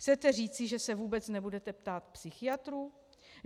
Chcete říct, že se vůbec nebudete ptát psychiatrů?